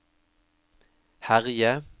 herje